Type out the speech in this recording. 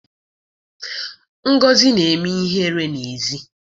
Ngozi na-eme ihere n'èzí